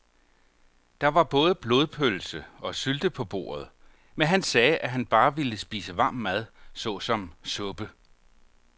Der var både blodpølse og sylte på bordet, men han sagde, at han bare ville spise varm mad såsom suppe.